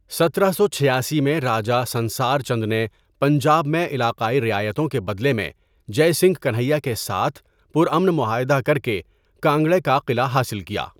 ستارہ سو چھیاسی میں راجا سنسار چند نے پنجاب میں علاقائی رعایتوں کے بدلے میں جے سنگھ کنہیا کے ساتھ پرامن معاہدہ کرکے کانگڑا کا قلعہ حاصل کیا۔